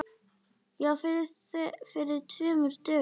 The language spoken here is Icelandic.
Já, fyrir tveim dögum.